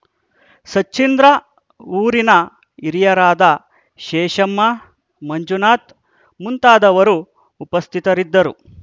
ಸಚ್ಚೀಂದ್ರ ಊರಿನ ಹಿರಿಯರಾದ ಶೇಷಮ್ಮ ಮಂಜುನಾಥ್‌ ಮುಂತಾದವರು ಉಪಸ್ಥಿತರಿದ್ದರು